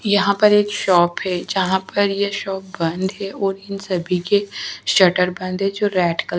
यहाँ पर एक शॉप है जहाँ पर ये शॉप बंद है और इन सभी के सटर बंद है जो रेड कल --